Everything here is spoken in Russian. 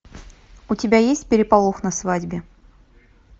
у тебя есть переполох на свадьбе